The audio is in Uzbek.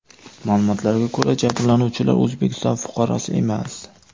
Ma’lumotlarga ko‘ra, jabrlanuvchilar O‘zbekiston fuqarosi emas.